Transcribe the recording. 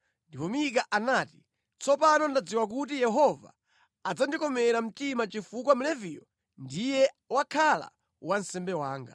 Ndipo Mika anati, “Tsopano ndadziwa kuti Yehova adzandikomera mtima chifukwa Mleviyu ndiye wakhala wansembe wanga.”